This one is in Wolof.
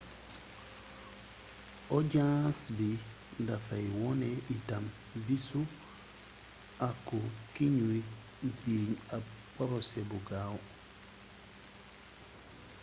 ojaans bi dafay wone itam bisu àqu kiñuy jiiñ ab porosé bu gaaw